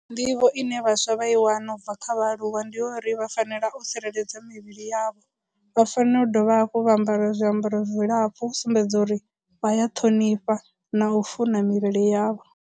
Nḓivho ine vhaswa vha i wana ubva kha vhaaluwa ndi yo uri vha fanela u tsireledza mivhili yavho, vha fanela u dovha hafhu vha ambara zwiambaro zwilapfhu u sumbedza uri vha ya ṱhonifha na u funa mivhili yavho.